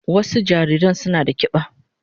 Wasu jariran suna da kiba.